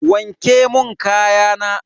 Wanke mun kayana.